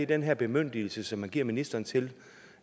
den her bemyndigelse som man giver ministeren til